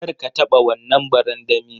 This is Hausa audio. Kar ka taba wannan barandami.